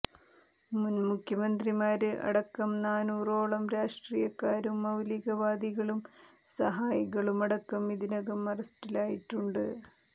മുന് മുഖ്യമന്ത്രിമാര് അടക്കം നാന്നൂറോളം രാഷ്ട്രീയക്കാരും മൌലികവാദികളും സഹായികളുമടക്കം ഇതിനകം അറസ്റ്റിലായിട്ടുണ്ട്